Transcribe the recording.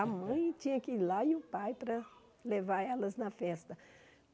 A mãe tinha que ir lá e o pai para levar elas na festa.